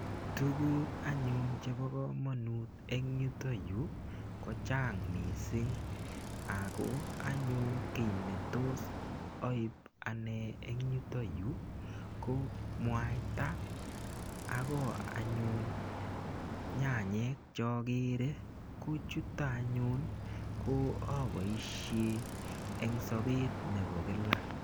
Tuguk anyun chebo komonut eng yutoyu, kochang missing. Ako anyun kiy netos aip ane eng yutoyu, ko mwaita, akoi anyun nyanyek che akere, ko chutok anyun che aboisie eng sabet nebo kila.